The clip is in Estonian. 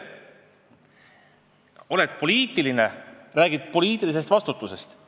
Oled poliitik, siis räägid vaid poliitilisest vastutusest.